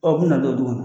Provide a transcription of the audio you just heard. u bina don dugu